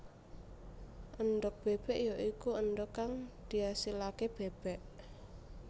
Endhog bébék ya iku endhog kang diasilaké bébék